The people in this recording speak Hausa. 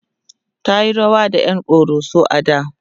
tayi rawa da ƴan koroso a da